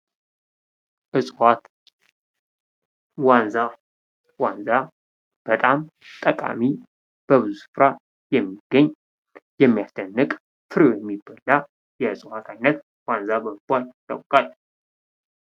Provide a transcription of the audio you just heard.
እጽዋት ዋንዛ ዋንዛ በጣም ጠቃሚ በብዙ ስፍራ የሚገኝ የሚያስደንቅ ፍሬው የሚበላ የእጽዋት አይነት ዋንዛ በመባል ይታወቃል።